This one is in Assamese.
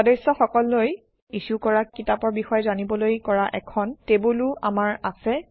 সদস্যসকললৈ ইছ্যু কৰা কিতাপৰ বিষয়ে জানিবলৈ কৰা এখন টেবুলো আমাৰ আছে